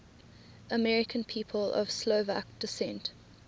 american people of slovak descent